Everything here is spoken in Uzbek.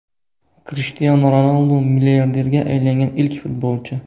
Krishtianu Ronaldu milliarderga aylangan ilk futbolchi.